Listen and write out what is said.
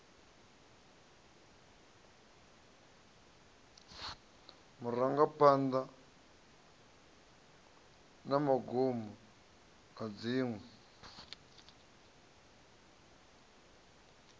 marangaphanḓa na magumo na dziṅwe